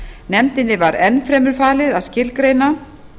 nefndinni var enn fremur falið að skilgreina